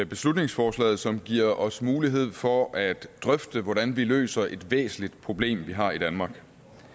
beslutningsforslaget som giver os mulighed for at drøfte hvordan vi løser et væsentligt problem vi har i danmark